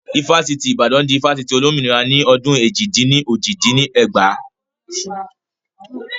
Ifásitì tí Ìbàdàn di Ifásitì Olómìnira ni ọdún èjì-dín-ní-ojì dín ní ẹgbàá